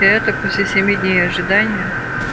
и это после семи дней ожидания